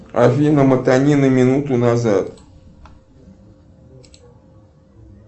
афина мотани на минуту назад